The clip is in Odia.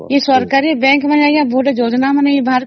ଆଉ government ର ଗୁଡା କିଛି ଯୋଜନା ବାହାର